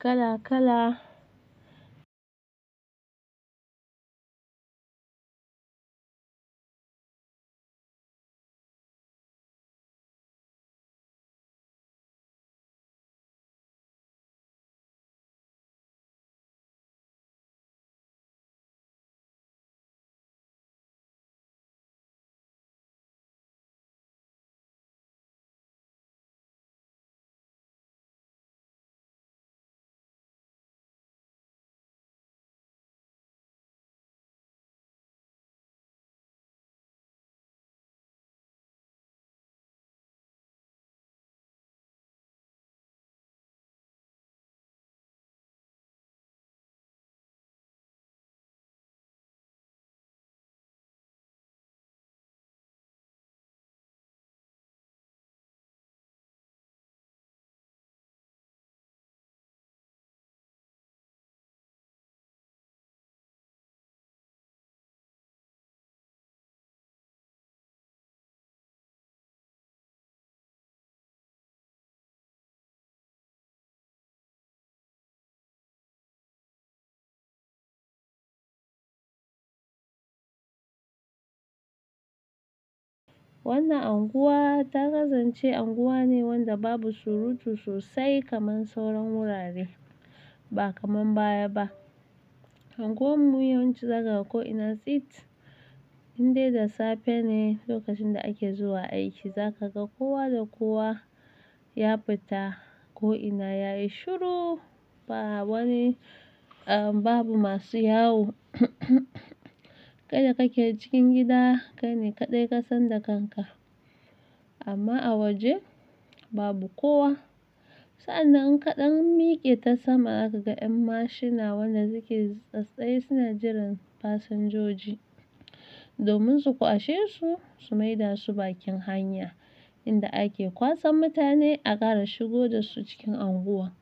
kala kala. Wannan unguwa ta kasance unguwa ne wanda babu surutu sosai kamar sauran wurare, ba kaman baya ba. Unguwar mu yawanci za ka ga ko'ina tsit, indai da safe ne lokacin da ake zuwa aiki. Za ka ga kowa da kowa ya fita ko'ina yayi shiru, ba wani, ahmm, babu masu yawo. Kai da kake cikin gida, kai ne kaɗai ka san da kanka. Amma a waje babu kowa. Sa'an nan in kaɗan miƙe ta sama, za ka ga 'yan mashuna wanda suke sasaye suna jiran fasinjoji domin su kwashe su, su maida su bakin hanya inda ake kwasan mutane a ƙara shigo da su cikin unguwa.